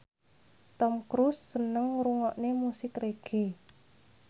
Tom Cruise seneng ngrungokne musik reggae